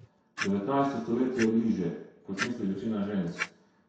Devetnajsto stoletje je bliže, kot misli večina žensk.